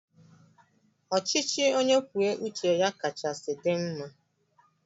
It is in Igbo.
Ọchịchị onye kwuo uche ya kachasị dị mma